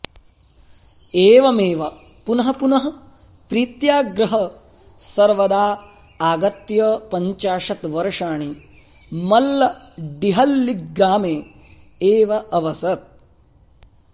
एवमेव पुनः पुनः प्रीत्याग्रहः सर्वदा आगत्य पञ्चाशत् वर्षाणि मल्लडिहळ्ळिग्रामे एव अवसत्